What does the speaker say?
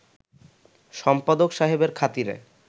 সম্পাদক সাহেবের খাতিরে